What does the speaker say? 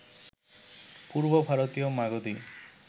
পূর্ব ভারতীয় মাগধী